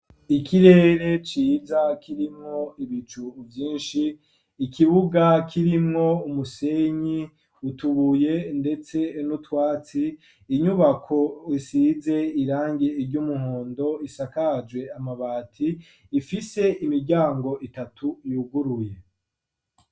Ikirere ciza kirimwo ivyinshi ,ikibuga kirimwo umusenyi, utubuye ndetse nutwatsi, inyubako isize irangi ry'umuhondo, isakaje amabati ifise imiryango itatu yuguruye.